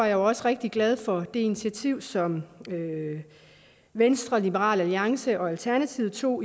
jo også rigtig glad for det initiativ som venstre liberal alliance og alternativet tog